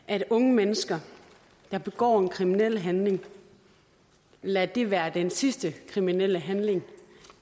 at unge mennesker der begår en kriminel handling lader det være den sidste kriminelle handling